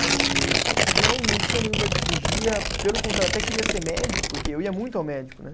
E não não tinha nenhum medo de cirurgia, pelo contrário, até queria ser médico, porque eu ia muito ao médico, né?